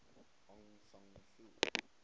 aung san suu